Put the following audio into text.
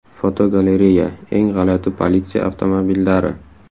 Fotogalereya: Eng g‘alati politsiya avtomobillari.